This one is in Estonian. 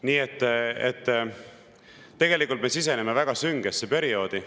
Nii et tegelikult me siseneme väga süngesse perioodi.